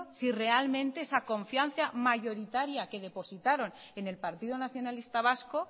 si realmente esa confianza mayoritaria que depositaron en el partido nacionalista vasco